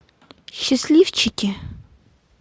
счастливчики